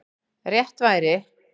Rétt væri